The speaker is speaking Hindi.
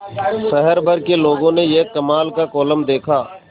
शहर भर के लोगों ने यह कमाल का कोलम देखा